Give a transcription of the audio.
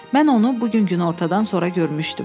Mən onu bu gün günortadan sonra görmüşdüm.